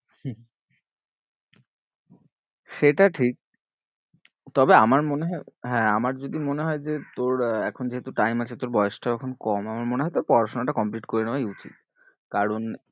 হম সেটা ঠিক তবে আমার মনে হয়ে হ্যাঁ আমার যদি মনে হয়ে যে তোর এখন যেহুতু time আছে তোর বয়েসটাও যখন কম আমার মনে হয়ে তোর পড়াশোনাটা complete করে নেওয়াটাই উচিত কারণ